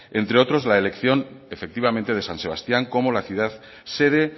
entre otros la elección efectivamente de san sebastián como la ciudad sede